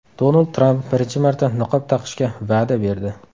Donald Tramp birinchi marta niqob taqishga va’da berdi.